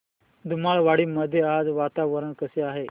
धुमाळवाडी मध्ये आज वातावरण कसे आहे